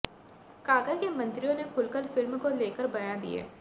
काका के मंत्रियों ने खुलकर फिल्म को लेकर बयान दिए